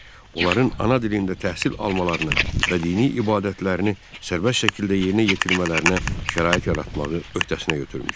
onların ana dilində təhsil almalarına və dini ibadətlərini sərbəst şəkildə yerinə yetirmələrinə şərait yaratmağı öhdəsinə götürmüşdü.